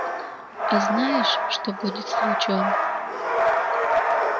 а знаешь что будет с лучом